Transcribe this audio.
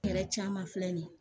Hɛrɛ caman filɛ nin ye